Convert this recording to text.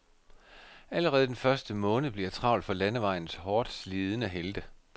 Allerede den første måned bliver travl for landevejens hårdt slidende helte. punktum